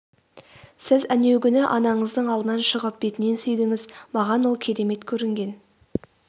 сіз әнеугүні анаңыздың алдынан шығып бетінен сүйдіңіз маған ол керемет көрінген